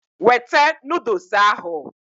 Wete noodles ahụ!